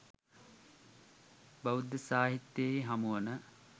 බෞද්ධ සාහිත්‍යයෙහි හමුවන